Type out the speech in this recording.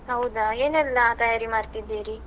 ಹೌದಾ? ಏನೆಲ್ಲಾ ತಯಾರಿ ಮಾಡ್ತಿದ್ದೀರಿ?